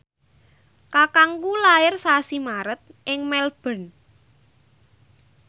kakangku lair sasi Maret ing Melbourne